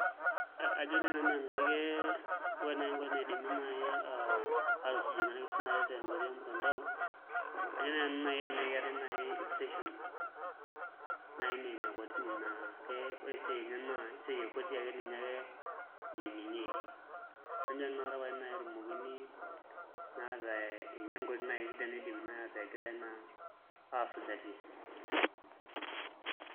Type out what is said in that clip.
Ajo naai nanu enaa ke ore naai enkoitoi naidimi aatusujie naa irkesin tenkoitoi ormutandao naa ajo naai nanu enaa kelelek eneeku eetai [station naai naa ene kotini naa ake ore esiai enye naa kotini ake etii ninye ake eyiayieki najo nanu inakata pae naai etumokini naa ataa ninye naai enkoitoi sidai naidimi naai ataa egirai naa aasujaki.